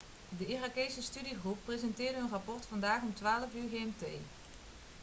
de irakese studiegroep presenteerde hun rapport vandaag om 12.00 uur gmt